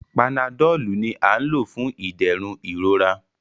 Panadọ́ọ̀lù ni à ń lò fún ìdẹ̀rùn ìrora.